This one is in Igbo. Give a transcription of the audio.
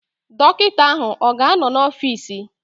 Dọkịta ahụ ọ ga-anọ n'ọfịs?